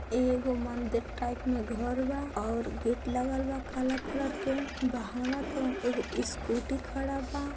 एगो मंदिर टाइप में घर बा और गेट लागल बा काला कलर के बहाव तोन एगो स्कूटी खड़ा बा।